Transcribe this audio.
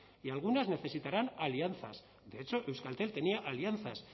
y algunas necesitarán alianzas de hecho euskaltel tenía alianzas